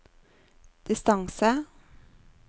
distance